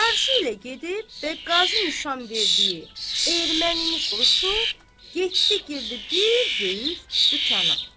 Çarşı ilə gedib və qazı nişan verdiyi ermənini soruşub, getdi girdi bir böyük dükana.